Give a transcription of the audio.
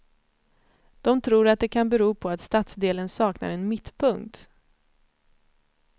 De tror att det kan bero på att stadsdelen saknar en mittpunkt.